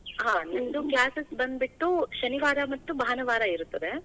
ಹಾ, ನಿಮ್ದು classes ಬಂದ್ಬಿಟ್ಟು ಶನಿವಾರ ಮತ್ತು ಭಾನುವಾರ ಇರುತ್ತದೆ.